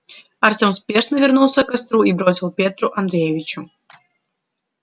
артём спешно вернулся к костру и бросил петру андреевичу